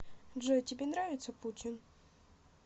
джой тебе нравится путин